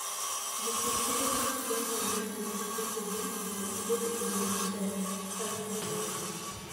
Jopur keto pachgi ahinya e rito puothegi mondo gibed gi ngima maber ka gipidho cham.